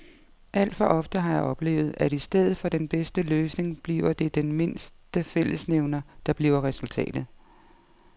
Alt for ofte har jeg oplevet, at i stedet for den bedste løsning bliver det den mindste fællesnævner, der bliver resultatet.